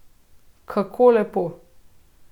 Kako lepo ...